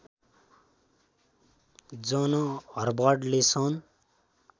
जन हवर्डले सन्